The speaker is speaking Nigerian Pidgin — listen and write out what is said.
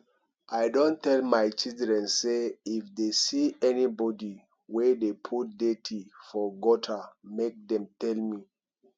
i don tell my children say if dey see anybody wey dey put dirt for gutter make dem tell me